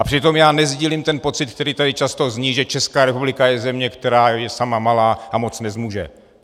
A přitom já nesdílím ten pocit, který tady často zní, že Česká republika je země, která je sama malá a moc nezmůže.